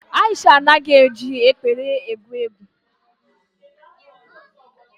Aisha anaghị eji ekpere egwu egwu.